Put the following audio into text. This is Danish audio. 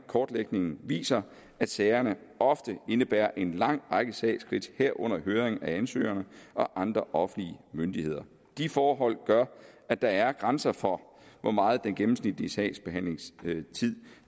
kortlægningen viser at sagerne ofte indebærer en lang række sagsskridt herunder høring af ansøgerne og andre offentlige myndigheder de forhold gør at der er grænser for hvor meget den gennemsnitlige sagsbehandlingstid